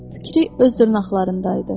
Fikri öz dırnaqlarındaydı.